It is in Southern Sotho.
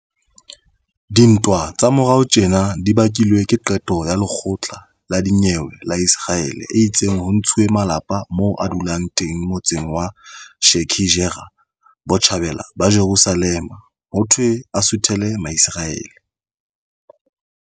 Dintwa tsa morao tjena di bakilwe ke qeto ya lekgotla la dinyewe la Iseraele e itseng ho ntshuwe malapa moo a dulang teng motseng wa Sheikh Jarrah, Botjhabela ba Jerusalema, hothwe a suthele Maiseraele.